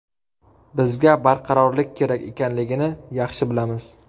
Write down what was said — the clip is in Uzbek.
Bizga barqarorlik kerak ekanligini yaxshi bilamiz.